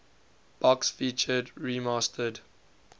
box featured remastered